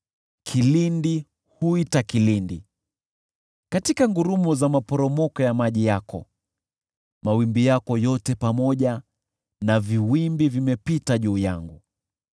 Kilindi huita kilindi, katika ngurumo za maporomoko ya maji yako; mawimbi yako yote pamoja na viwimbi vimepita juu yangu.